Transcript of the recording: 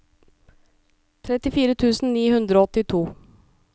trettifire tusen ni hundre og åttito